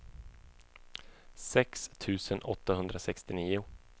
sex tusen åttahundrasextionio